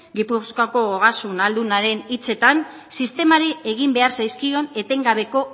gipuzkoako ogasun ahaldunaren hitzetan sistemari egin behar zaizkion etengabeko